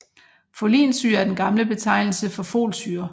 Folinsyre er den gamle betegnelse for Folsyre